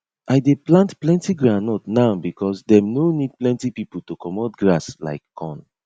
i dey plant plenty groundnut now because dem no need plenty pipo to commot grass like corn